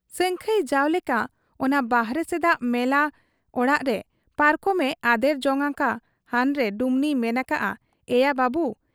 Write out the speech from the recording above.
ᱥᱟᱹᱝᱠᱷᱟᱹᱭ ᱡᱟᱣᱞᱮᱠᱟ ᱚᱱᱟ ᱵᱟᱦᱨᱮ ᱥᱮᱫᱟᱜ ᱢᱮᱞᱟ ᱚᱲᱟᱜᱛᱮ ᱯᱟᱨᱠᱚᱢᱮ ᱟᱫᱮᱨ ᱡᱚᱝ ᱟᱠᱟ ᱦᱟᱱᱨᱮ ᱰᱩᱢᱱᱤᱭᱮ ᱢᱮᱱ ᱟᱠᱟᱜ ᱟ, 'ᱤᱭᱟᱹ ᱵᱟᱵᱩ !